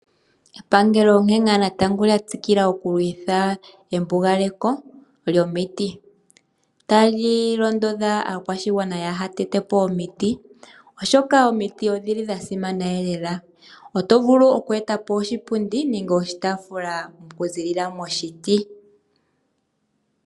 Epangelo onkene lyatsikila okukondjitha embugaleko lyomiti tali londodha aakwashigwana yatetepo omiti oshoka omiti odhili dhasimana. Oto vulu okweetapo oshipundi nenge oshitaafula okuza momuti.